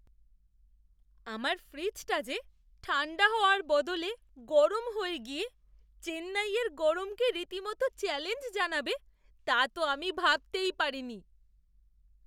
আমার ফ্রিজটা যে ঠাণ্ডা হওয়ার বদলে গরম হয়ে গিয়ে চেন্নাইয়ের গরমকে রীতিমতো চ্যালেঞ্জ জানাবে তা তো আমি ভাবতেই পারিনি!